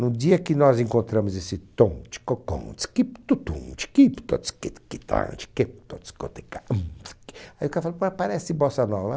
No dia que nós encontramos esse (cantarola), aí o cara fala, parece Bossa Nova.